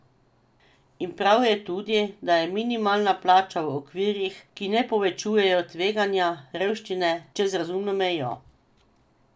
In prav je tudi, da je minimalna plača v okvirih, ki ne povečujejo tveganja revščine čez razumno mejo!